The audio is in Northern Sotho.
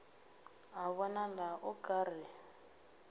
a bonala o ka re